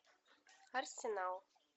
арсенал